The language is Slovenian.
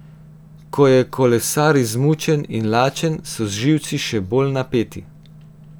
Ko je kolesar izmučen in lačen, so živci še bolj napeti.